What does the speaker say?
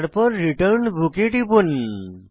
তারপর return book এ টিপুন